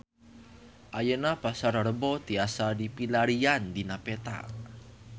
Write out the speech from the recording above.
Ayeuna Pasar Rebo tiasa dipilarian dina peta